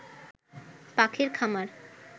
পাখির খামার